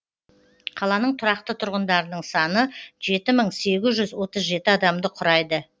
қаланың тұрақты тұрғындарының саны жеті мың сегіз жүз отыз жеті адамды құрайды